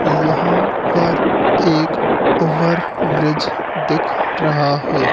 यहां पर एक ओवर ब्रिज दिख रहा है।